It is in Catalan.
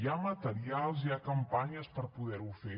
hi ha materials hi ha campanyes per poder ho fer